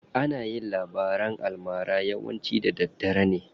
Ana yin labaran almara yawanci da daddare ne.